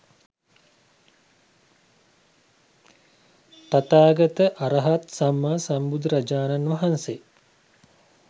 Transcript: තථාගත අරහත් සම්මා සම්බුදුරජාණන් වහන්සේ